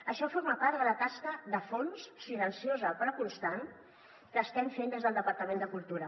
això forma part de la tasca de fons silenciosa però constant que estem fent des del departament de cultura